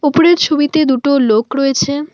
উপরের ছবিতে দুটো লোক রয়েছে।